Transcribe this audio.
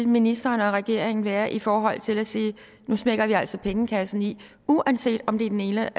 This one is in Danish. ministeren og regeringen vil være i forhold til at sige nu smækker vi altså pengekassen i uanset om det er den ene